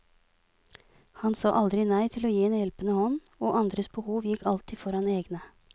Han sa aldri nei til å gi en hjelpende hånd, og andres behov gikk alltid foran egne.